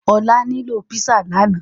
Olá nilo pizza lànà